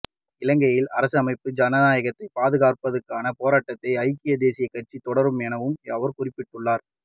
இலங்கையின் அரசமைப்பையும் ஜனநாயகத்தையும் பாதுகாப்பதற்கான போராட்டத்தை ஐக்கியதேசிய கட்சி தொடரும் எனவும் அவர் குறிப்பிட்டுள்ளார்